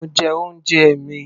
Mo jẹ oúnjẹ mi.